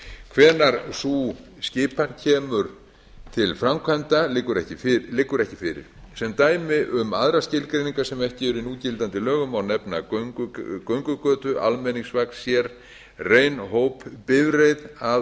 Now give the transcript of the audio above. hvenær sú skipan kemur til framkvæmda liggur ekki fyrir sem dæmi um aðrar skilgreiningar sem ekki eru í núgildandi lögum má nefna göngugötu almenningsvagn sérrein hópbifreið að